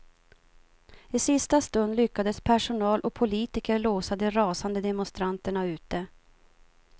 I sista stund lyckades personal och politiker låsa de rasande demonstranterna ute.